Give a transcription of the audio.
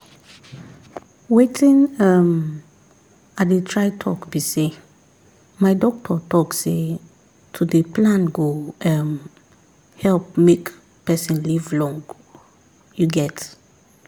wetin um i dey try talk be say my doctor talk say to dey plan go um help make person live long um